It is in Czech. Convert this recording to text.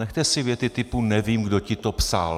Nechte si věty typu "nevím, kdo ti to psal".